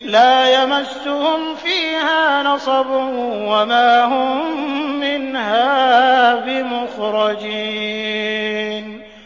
لَا يَمَسُّهُمْ فِيهَا نَصَبٌ وَمَا هُم مِّنْهَا بِمُخْرَجِينَ